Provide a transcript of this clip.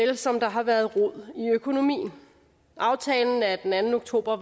ligesom der har været rod i økonomien aftalen af den anden oktober